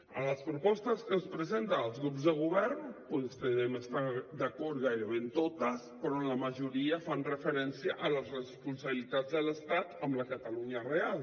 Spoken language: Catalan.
en les propostes que ens presenten els grups de govern doncs devem estar d’acord gairebé en totes però en la majoria fan referència a les responsabilitats de l’estat amb la catalunya real